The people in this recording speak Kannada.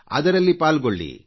ಅದರಲ್ಲಿ ಪಾಲ್ಗೊಳ್ಳಿ